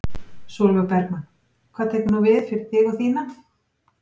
Sólveig Bergmann: Hvað tekur nú við fyrir þig og þína?